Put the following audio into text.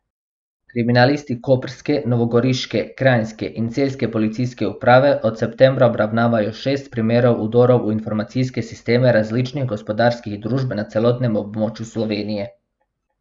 Kriminalisti koprske, novogoriške, kranjske in celjske policijske uprave od septembra obravnavajo šest primerov vdorov v informacijske sisteme različnih gospodarskih družb na celotnem območju Slovenije.